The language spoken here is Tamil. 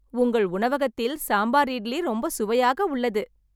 உங்கள் உணவகத்தில் சாம்பார் இட்லி ரொம்ப சுவையாக உள்ளது